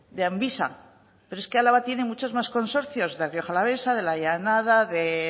de amvisa pero es que álava tiene muchos más consorcios de rioja alavesa de la llanada de